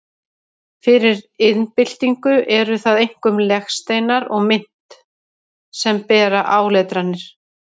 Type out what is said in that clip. Fyrir iðnbyltingu eru það einkum legsteinar og mynt sem bera áletranir.